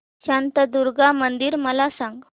शांतादुर्गा मंदिर मला सांग